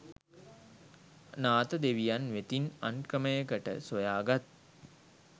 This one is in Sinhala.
නාථ දෙවියන් වෙතින් අන් ක්‍රමයකට සොයාගත්